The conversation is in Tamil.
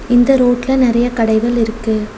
இந்த ரோட்ல நறைய கடைகள் இருக்கு.